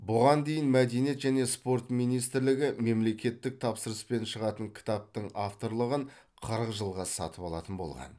бұған дейін мәдениет және спорт министрлігі мемлекеттік тапсырыспен шығатын кітаптың авторлығын қырық жылға сатып алатын болған